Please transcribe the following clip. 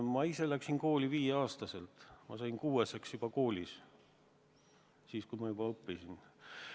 Ma ise läksin kooli viieaastasena, ma sain kuueseks koolis, kui ma juba õppisin seal.